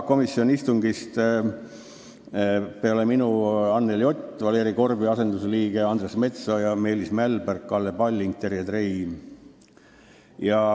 Komisjoni istungist võtsid peale minu osa Anneli Ott Valeri Korbi asendusliikmena, Andres Metsoja, Meelis Mälberg, Kalle Palling ja Terje Trei.